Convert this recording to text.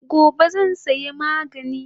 Gobe zan saya magani